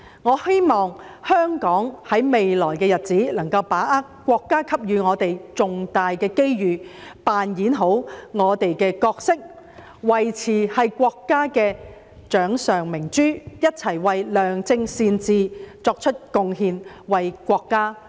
我希望香港在未來的日子，能夠把握國家所給予的重大機遇，扮演好我們的角色，維持是國家的掌上明珠，一起為良政善治作出貢獻、為國家作出貢獻。